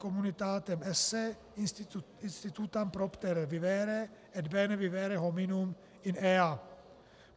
communitatem esse institutam propter vivere et bene vivere hominum in ea".